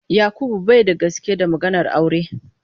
Yakubu bai da gaske da maganar aure.